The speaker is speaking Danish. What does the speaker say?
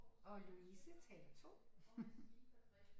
Og Louise taler 2